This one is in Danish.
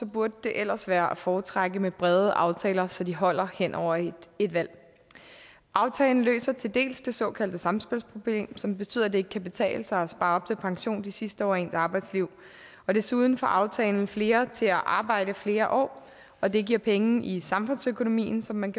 burde det ellers være at foretrække med brede aftaler så de holder hen over et valg aftalen løser til dels det såkaldte samspilsproblem som betyder at det ikke kan betale sig at spare op til pension de sidste år af ens arbejdsliv og desuden får aftalen flere til at arbejde flere år og det giver penge i samfundsøkonomien som man